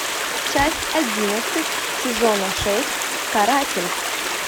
часть одиннадцать сезона шесть каратель